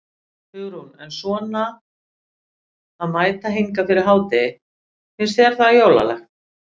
Hugrún: En svona að mæta hingað fyrir hádegi, finnst þér það jólalegt?